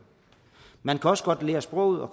man kan også godt lære sproget og